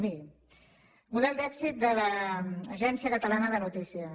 miri model d’èxit de l’agència catalana de notícies